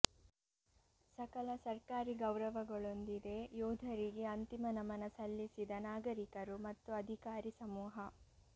ಸಕಲ ಸರ್ಕಾರಿ ಗೌರವಗಳೊಂದಿದೆ ಯೋಧರಿಗೆ ಅಂತಿಮ ನಮನ ಸಲ್ಲಿಸಿದ ನಾಗರಿಕರು ಮತ್ತು ಅಧಿಕಾರಿ ಸಮೂಹ